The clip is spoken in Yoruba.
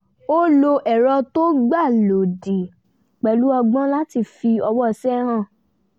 ó lo ẹ̀rọ tó gbà lódìé pẹ̀lú ọgbọ́n láti fi ọwọ́ṣe hàn